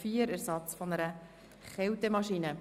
Wir kommen also bereits zur Abstimmung.